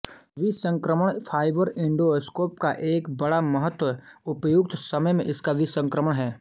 विसंक्रमण fibre endoscope का एक बड़ा महत्व उपयुक्त समय में इसका विसंक्रमण है